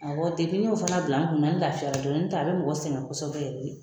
Awɔ fana bila n kun na, n lafiya la, n tɛ a bɛ mɔgɔ sɛngɛn kosɛbɛ yɛrɛ de.